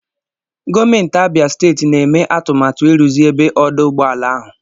Gọọmenti Abia steeti na-eme atụmatụ ịrụzi ebe ọdụ ụgbọ ala ahụ.